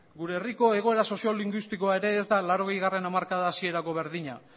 gure herriko egoera sozio linguistikoa ere ez da laurogeigarrena hamarkada hasierako berdina